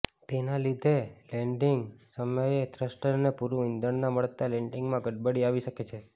તેના લીધે લેન્ડિંગ સમયે થ્રસ્ટર્સને પૂરું ઇંધણના મળતા લેન્ડિંગમાં ગડબડી આવી શકે છે